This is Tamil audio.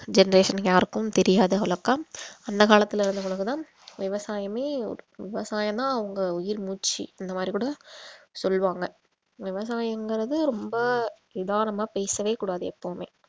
generation யாருக்கும் தெரியாத அந்த காலத்தில இருந்தவங்களுக்லாம் விவசாயமே ஒரு~ விவசாயம்னா அவங்க உயிர் மூச்சு அந்த மாதிரி கூட சொல்லுவாங்க விவசாயம்ங்றது ரொம்ப பேசவே கூடாது எப்பவுமே